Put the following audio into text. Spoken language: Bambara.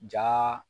Ja